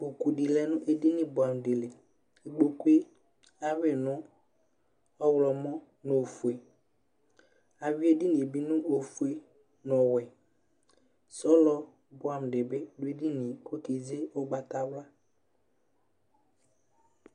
Ikpoku di lɛ nu edini dili ikpoku ayui nu ɔɣlomɔ nu ofue ayui edinie bi nu ofue nu ɔwɛ sɔlɔ buɛ amu bi du edinie ku ɔkeze ugbatawla